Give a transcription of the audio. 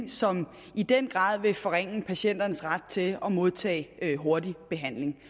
som i den grad vil forringe patienternes ret til at modtage hurtig behandling